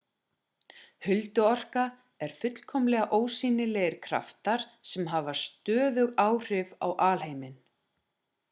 hulduorka er fullkomlega ósýnilegir kraftar sem hafa stöðug áhrif á alheiminn